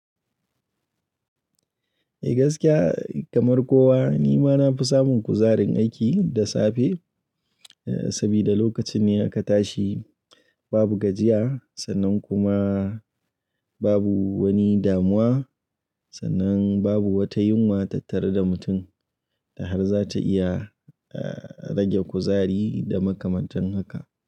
Eh gaskiya kamar kowa ni ma na fi samun kuzarin aiki da safe, saboda lokacin ne aka tashi babu gajiya sannan kuma babu wani damuwa sannan babu wata yunwa tattare da mutum da har za ta iya rage kuzari da makamantan haka.